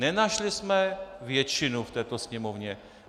Nenašli jsme většinu v této Sněmovně.